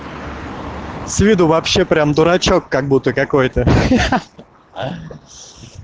с виду вообще прямо дурачок как будто какой-то ха-ха